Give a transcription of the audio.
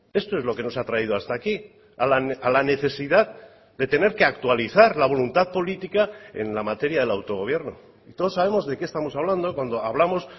esto es lo que nos ha traído hasta aquí a la necesidad de tener que actualizar la voluntad política en la materia del autogobierno todos sabemos de qué estamos hablando cuando hablamos